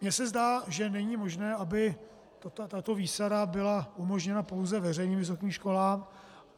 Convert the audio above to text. Mě se zdá, že není možné, aby tato výsada byla umožněna pouze veřejným vysokým školám.